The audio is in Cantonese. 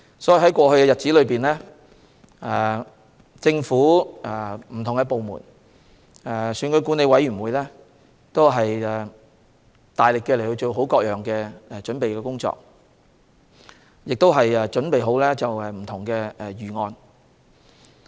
所以，在過去一段日子，不同的政府部門，以及選舉管理委員會都大力進行各項準備工作，亦備妥不同方案。